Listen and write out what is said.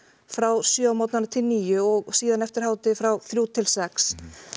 frá sjö á morgnanna til níu og síðan eftir hádegi frá þremur til sex